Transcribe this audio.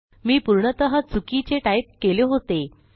मी पूर्णतः चुकीचे टाईप केले होते